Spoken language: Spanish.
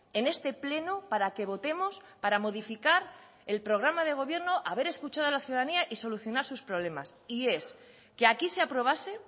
en este pleno para que votemos para modificar el programa de gobierno haber escuchado a la ciudadanía y solucionar sus problemas y es que aquí se aprobase